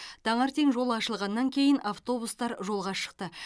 таңертең жол ашылғаннан кейін автобустар жолға шықты